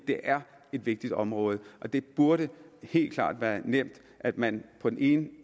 det er et vigtigt område og det burde helt klart være nemt at man på den ene